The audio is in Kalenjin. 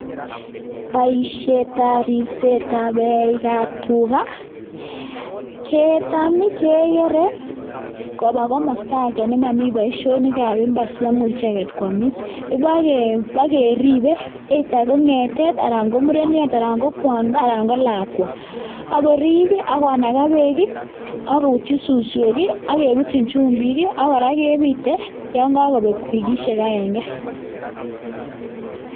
Boishetab ribsetab eik ab tuga, ketam kegere koba komosta agenge ne momi boishonikab mbar asi maimuch icheget koamis. Kibogeribe either ko ng'etet anan ko mureniot anan ko kwondo anan ko lakwa ago rib ii agonaga beek ii agobutyi suswek ii, ak kebutyin chumbik, ak kora kebite yon kokobek wikishek agenge